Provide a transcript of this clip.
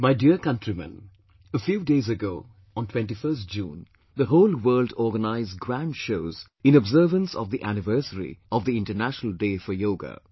My dear Countrymen, a few days ago on 21st June, the whole world organised grand shows in observance of the anniversary of the International Day for Yoga